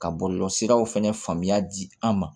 Ka bɔ bɔlɔlɔ siraw fɛnɛ faamuya di an ma